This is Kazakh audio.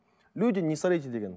люди не сорите деген